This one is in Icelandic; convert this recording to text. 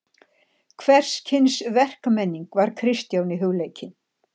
Hvers kyns verkmenning var Kristjáni hugleikin.